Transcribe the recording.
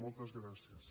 moltes gràcies